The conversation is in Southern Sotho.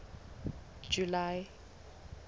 july